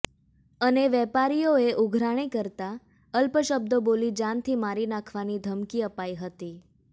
અને વેપારીઓએ ઉઘરાણી કરતા અપશબ્દો બોલી જાનથી મારી નાંખવાની ધમકી અપાઈ હતી